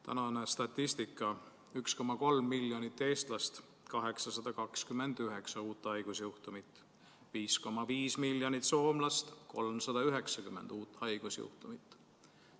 Tänane statistika: 1,3 miljonit Eesti inimest, 829 uut haigusjuhtumit; 5,5 miljonit Soome inimest, 390 uut haigusjuhtumit.